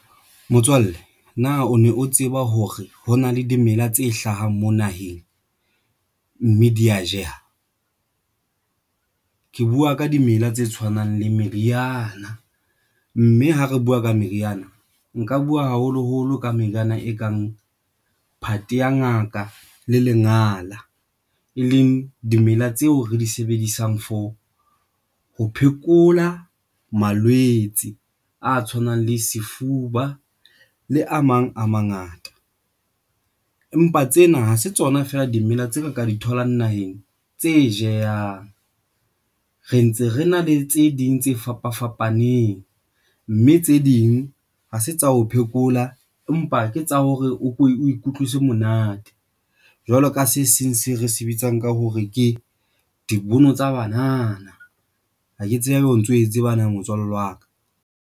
Motswalle na o ne o tseba hore ho na le dimela tse hlahang mo naheng mme di ya jeha. Ke buwa ka dimela tse tshwanang le meriana, mme ha re buwa ka meriana, nka buwa, haholoholo ka meriana e kang phate ya ngaka le lengala, e leng dimela tseo re di sebedisang for ho phekola malwetse a tshwanang le sefuba le a mang a mangata. Empa tsena ha se tsona feela dimela tsa ka ka di tholang naheng tse jehang Re ntse re na le tse ding tse fapafapaneng, mme tse ding ha se tsa ho phekola, empa ke tsa hore o ikutlwisa monate jwalo ka se seng se re se bitsang ka hore ke dibono tsa banana. Ha ke tsebe haeba o ntso e tseba motswalle wa ka.